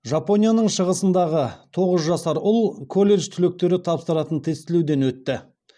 жапонияның шығысындағы тоғыз жасар ұл колледж түлектері тапсыратын тестілеуден өтті